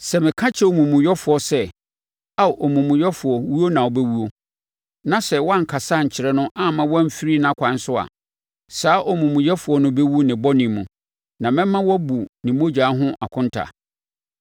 Sɛ meka kyerɛ omumuyɛfoɔ sɛ, ‘Ao omumuyɛfoɔ owuo na wobɛwuo,’ na sɛ wʼankasa ankyerɛ no amma wamfiri nʼakwan so a, saa omumuyɛfoɔ no bɛwu ne bɔne mu, na mɛma woabu ne mogya ho akonta.